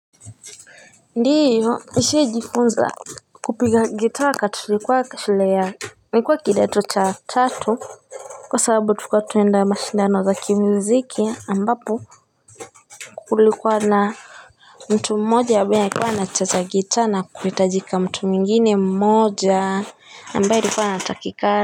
Ndiyo nishajifunza kupiga gitaa wakati tulikuwa shule ya nilikuwa kidato cha tatu kwa sababu tulikua tunaenda mashindano za kimuziki ambapo. Kulikuwa na mtu mmoja ambaye alikuwa anacheza gita na kuhitajika mtu mwingine mmoja. Ambaye alikuwa anatakikana.